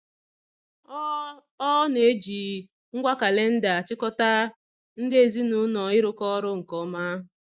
Ọ Ọ na-eji ngwa kalịnda achịkọta ndị ezinụụlọ ịrụkọ ọrụ nke ọma.